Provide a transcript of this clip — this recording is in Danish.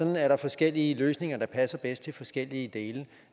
er der forskellige løsninger der passer bedst til forskellige dele